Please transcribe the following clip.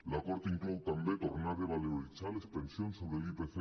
l’acord inclou també tornar a revaloritzar les pensions sobre l’ipc